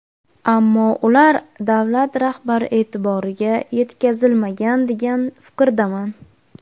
Ammo ular davlat rahbari e’tiboriga yetkazilmagan, degan fikrdaman.